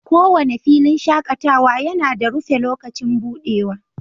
kowane filin shakatawa yana da rufe lokacin buɗewa